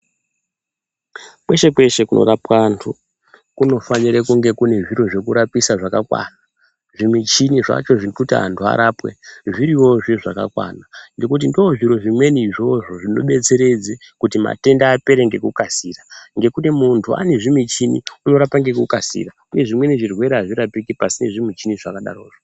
Kweshe kweshe kunorapwa antu kunofanire kunge kune zviro zvekurapisa zvakakwana zvimichini zvacho zvekuti anhu arapwe zviryozve zvakakwana ngekuti ndozvimwe zviro izvozvo zvinodetseredze kuti matenda apera ngekukasira, ngekuti muntu anezvimuchini anorapa ngekukasira uye zvimwe zvirwere azvirapiki pasine zvimichini zvakadaro zvo.